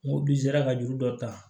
N ko bi n sera ka juru dɔ ta